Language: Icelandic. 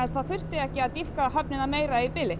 það þurfti ekki að dýpka höfnina meira í bili